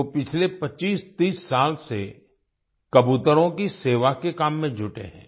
वो पिछले 2530 साल से कबूतरों की सेवा के काम में जुटे हैं